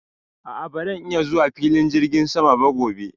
a'a baran iya zuwa filin jirgin sama ba gobe